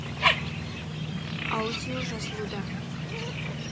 аудио жазылуда